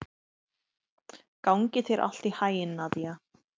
Gangi þér allt í haginn, Nadia.